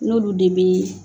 N'olu de be